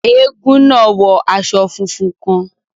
Èègún náà wọ aṣọ fúnfún kàn